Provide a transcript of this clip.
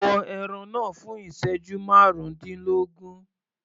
Bọ ẹran náà fún ìsẹ́jú márùndínlógún.